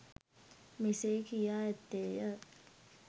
මෙසේ කියා ඇත්තේ ය.